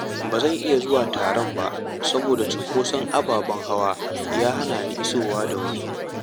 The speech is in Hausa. Ba zan iya zuwa taron ba saboda cunkoson ababen hawa ya hana ni isowa da wuri.